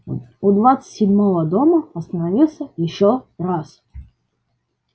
у двадцать седьмого дома остановился ещё раз